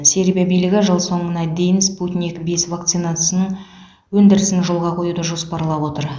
сербия билігі жыл соңына дейін спутник бес вакцинасының өндірісін жолға қоюды жоспарлап отыр